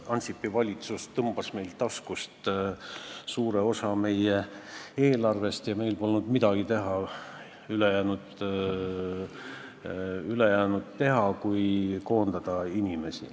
Ansipi valitsus tõmbas meilt taskust suure osa meie eelarvest ja meil ei jäänud üle muud kui inimesi koondada.